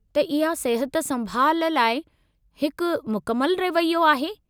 त इहा सिहत-संभालु लाइ हिकु मुकमल रवैयो आहे।